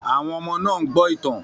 Àwọn ọmọ náà ń gbọ́ ìtàn